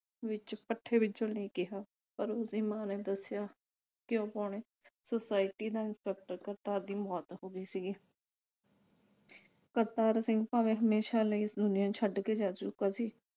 ਵਿਚ ਪੱਠੇ ਵਿਚੋ ਚੁਣਨ ਲਈ ਕਿਹਾ। ਪਰ ਉਸਦੀ ਮਾਂ ਨੇ ਦੱਸਿਆ ਕਿ ਉਹ ਪੌਣੇ ਨਾਲ ਕਰਤਾਰ ਦੀ ਮੌਤ ਹੋ ਗਈ ਸੀਗੀ। ਕਰਤਾਰ ਸਿੰਘ ਭਾਵੇ ਹਮੇਸ਼ਾ ਲਈ ਇਸ ਦੁਨੀਆਂ ਛੱਡ ਕੇ ਜਾ ਚੁੱਕਾ ਸੀ